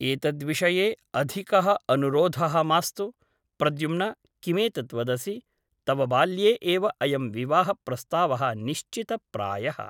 एतद्विषये अधिकः अनुरोधः मास्तु । प्रद्युम्न किमेतत् वदसि ? तव बाल्ये एव अयं विवाहप्रस्तावः निश्चित प्रायः ।